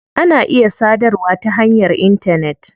Ana iya sadarwa ta hanyar intanet.